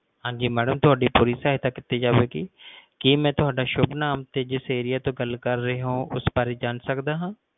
ਹਾਂਜੀ ਮੈਡਮ ਤੁਹਾਡੀ ਪੂਰੀ ਸਹਾਇਤਾ ਕੀਤੀ ਜਾਵੇਗੀ ਕੀ ਮਈ ਤੁਹਾਡਾ ਸ਼ੁਭ ਨਾਮ ਤੇ ਜਿਸ area ਤੋਂ ਗੱਲ ਕਰ ਰਹੇ ਹੋ ਉਸ ਬਾਰੇ ਜਾਂ ਸਕਦਾ ਹੈ